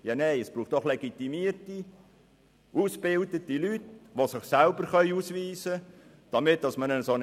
Nein, um eine Identitätsfeststellung machen zu können, braucht es doch legitimierte, ausgebildete Leute, die sich auch selbst ausweisen können.